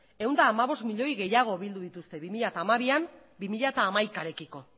ehun eta hamabost milloi gehiago bildu dituzte bi mila hamabian bi mila hamaikarekiko